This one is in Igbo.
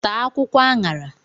Taa akwụkwọ añara